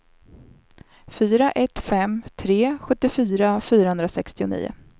fyra ett fem tre sjuttiofyra fyrahundrasextionio